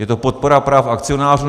Je to podpora práv akcionářů?